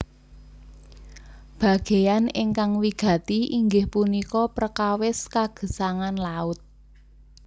Bagéyan ingkang wigati inggih punika prekawis kagesangan laut